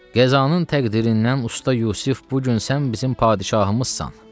Qəzanın təqdirindən Usta Yusif, bu gün sən bizim padşahımızsan.